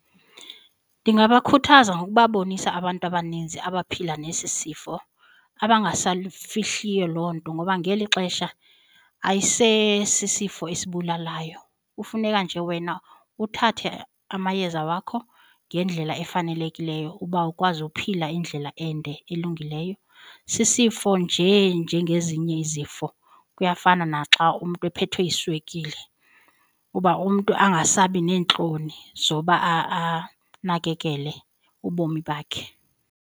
Ndingabakhuthaza ngokubabonisa abantu abaninzi abaphila nesi sifo abangasalifihliyo loo nto ngoba ngeli xesha ayise sisifo esibulalayo kufuneka nje wena uthathe amayeza wakho ngendlela efanelekileyo uba ukwazi uphila indlela ende elungileyo. Sisifo njee njengezinye izifo, kuyafana naxa umntu ephethwe yiswekile uba umntu angasabi neentloni zoba anakekele ubomi bakhe.